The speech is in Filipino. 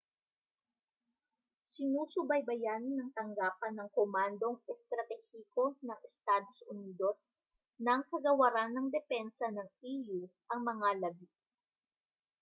sinusubaybayan ng tanggapan ng komandong estratehiko ng estados unidos ng kagawaran ng depensa ng e.u. ang mga labi